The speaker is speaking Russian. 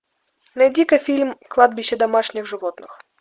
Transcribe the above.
найди ка фильм кладбище домашних животных